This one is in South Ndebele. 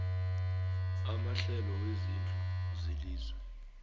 amahlelo wezezindlu welizwe